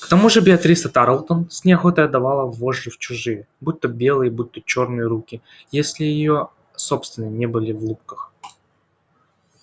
к тому же беатриса тарлтон с неохотой отдавала вожжи в чужие будь то белые будь то чёрные руки если её собственные не были в лубках